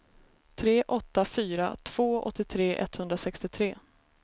tre åtta fyra två åttiotre etthundrasextiotre